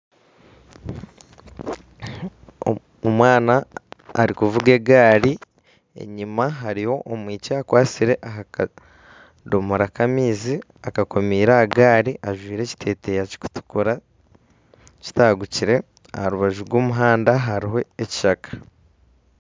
Omwana arikuvuga egaari enyima hariyo omwishiki akwatsire aha kadomoora k'amaizi akakomeire aha gaari ajwaire ekiteeteeyi kirikutukura kitagukire. Aha rw'omuhanda hariho ekishaka.